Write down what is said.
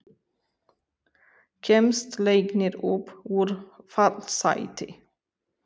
Kemst Leiknir upp úr fallsæti?